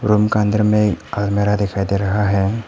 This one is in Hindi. रूम के अंदर में अलमारी दिखाई दे रहा है।